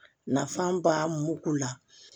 Nafa ba mugu la